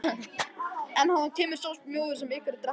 En af henni kemur sá mjöður sem einherjar drekka.